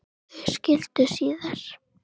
Þau skildu síðar.